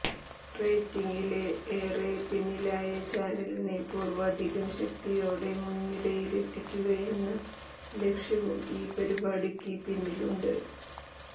റേറ്റിങ്ങില് ഏറെ പിന്നിലായ ചാനലിനെ പൂര്വ്വാധികം ശക്തിയോടെ മുന്നിരയിലെത്തിക്കുകയെന്ന ലക്ഷ്യവും ഈ പരിപാടിക്ക് പിന്നിലുണ്ട്